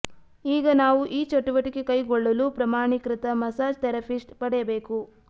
ಈಗ ನಾವು ಈ ಚಟುವಟಿಕೆ ಕೈಗೊಳ್ಳಲು ಪ್ರಮಾಣೀಕೃತ ಮಸಾಜ್ ಥೆರಪಿಸ್ಟ್ ಪಡೆಯಬೇಕು